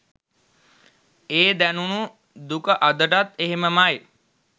ඒ දැනුනු දුක අදටත් එහෙමමයි.